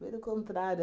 Foi do contrário.